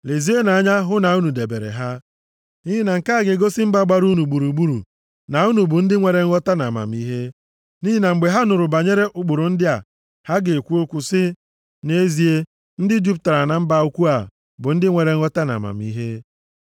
Lezienụ anya hụ na unu debere ha, nʼihi na nke a ga-egosi mba gbara unu gburugburu na unu bụ ndị nwere nghọta na amamihe. Nʼihi na mgbe ha nụrụ banyere ụkpụrụ ndị a, ha ga-ekwu okwu sị, “Nʼezie, ndị jupụtara na mba ukwu a bụ ndị nwere nghọta na amamihe.”